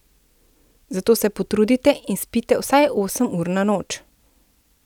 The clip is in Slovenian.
Zato se potrudite in spite vsaj osem ur na noč.